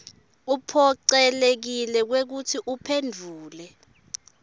uphocelekile kwekutsi uphendvule